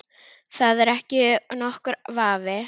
Það er ekki nokkur vafi.